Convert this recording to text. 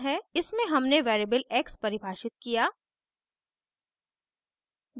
इसमें हमने variable x परिभाषित किया